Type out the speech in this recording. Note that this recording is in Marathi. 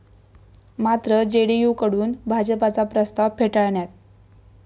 मात्र जेडीयूकडून भाजपचा प्रस्ताव फेटाळण्यात.